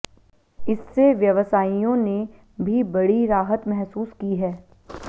इससे व्यवसायियों ने भी बड़ी राहत महसूस की है